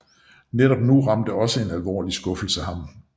Netop nu ramte også en alvorlig skuffelse ham